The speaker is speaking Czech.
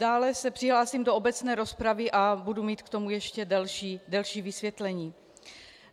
- Dále se přihlásím do obecné rozpravy a budu mít k tomu ještě delší vysvětlení.